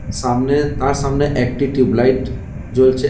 সামনে তার সামনে একটি টিউব লাইট জ্বলছে।